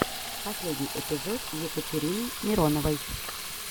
последний эпизод катерины мироновой